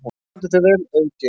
Þú stendur þig vel, Auðgeir!